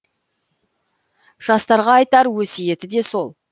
жастарға айтар өсиеті де сол